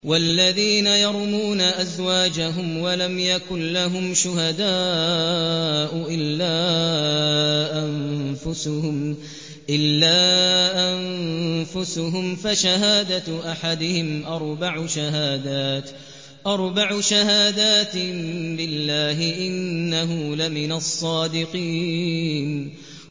وَالَّذِينَ يَرْمُونَ أَزْوَاجَهُمْ وَلَمْ يَكُن لَّهُمْ شُهَدَاءُ إِلَّا أَنفُسُهُمْ فَشَهَادَةُ أَحَدِهِمْ أَرْبَعُ شَهَادَاتٍ بِاللَّهِ ۙ إِنَّهُ لَمِنَ الصَّادِقِينَ